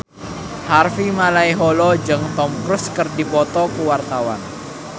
Harvey Malaiholo jeung Tom Cruise keur dipoto ku wartawan